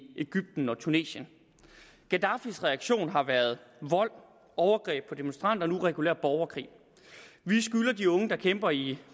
egypten og tunesien gaddafis reaktion har været vold overgreb på demonstranter og nu regulær borgerkrig vi skylder de unge der kæmper i